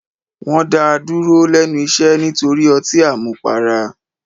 Wọn dá a dúró lẹ́nu iṣẹ́ nítorí ọtí àmupara.